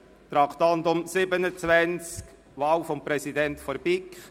Traktandum 35: Wahl des Präsidenten der BiK;